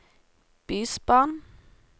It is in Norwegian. bysbarn